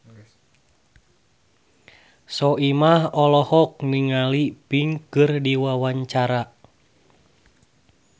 Soimah olohok ningali Pink keur diwawancara